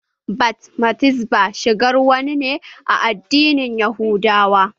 Bat mitzbah shigar wa ne a addinin yahudawa.